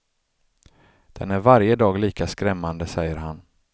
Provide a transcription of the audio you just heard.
Den är varje dag lika skrämmande, säger han.